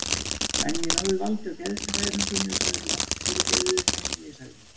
En ég náði valdi á geðshræringunni og sagði lágt: Fyrirgefðu það sem ég sagði.